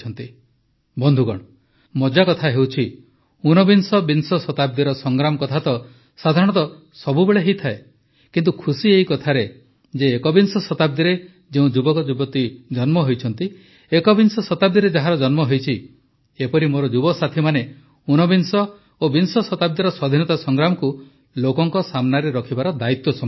ବନ୍ଧୁଗଣ ମଜା କଥା ହେଉଛି ଉନବିଂଶବିଂଶ ଶତାବ୍ଦୀର ସଂଗ୍ରାମ କଥା ତ ସାଧାରଣତଃ ସବୁବେଳେ ହୋଇଥାଏ କିନ୍ତୁ ଖୁସି ଏହି କଥାରେ ଯେ ଏକବିଂଶ ଶତାବ୍ଦୀରେ ଯେଉଁ ଯୁବକ ଯୁବତୀ ଜନ୍ମ ହୋଇଛନ୍ତି ଏକବିଂଶ ଶତାବ୍ଦୀରେ ଯାହାର ଜନ୍ମ ହୋଇଛି ଏପରି ମୋର ଯୁବସାଥୀମାନେ ଉନବିଂଶ ଓ ବିଂଶ ଶତାବ୍ଦୀର ସ୍ୱାଧୀନତା ସଂଗ୍ରାମକୁ ଲୋକଙ୍କ ସାମ୍ନାରେ ରଖିବାର ଦାୟିତ୍ୱ ସମ୍ଭାଳିଛନ୍ତି